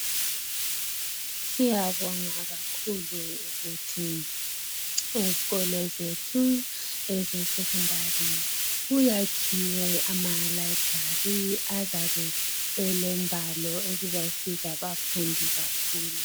Siyabonga kakhulu ukuthi ezikolo zethu ezesecondary kuyakhiwe amalibrary azabe elengwalo ezizasiza abafundi kakhulu.